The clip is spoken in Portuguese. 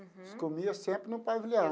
Uhum. Eles comia sempre no pavilhão.